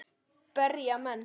Berja menn.?